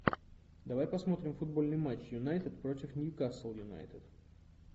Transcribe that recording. давай посмотрим футбольный матч юнайтед против ньюкасл юнайтед